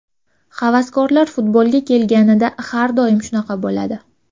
Havaskorlar futbolga kelganida har doim shunaqa bo‘ladi.